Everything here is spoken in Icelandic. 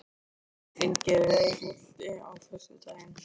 Finngeir, er bolti á föstudaginn?